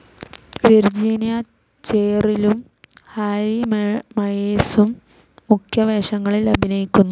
Virginia ചെറിലും Harry മയേഴ്സും മുഖ്യ വേഷങ്ങളിൽ അഭിനയിക്കുന്നു.